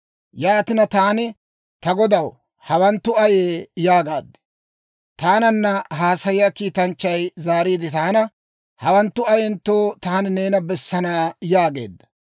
Yaatina, taani, Ta godaw, hawanttu ayee? yaagaad. Taananna haasayiyaa kiitanchchay zaariide taana, «Hawanttu ayentto taani neena bessana yaageedda.